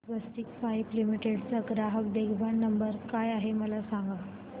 स्वस्तिक pipe limited चा ग्राहक देखभाल नंबर काय आहे मला सांगा